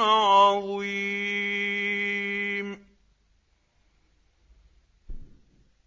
عَظِيمٌ